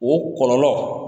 O kɔlɔlɔ,